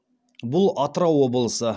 бұл атырау облысы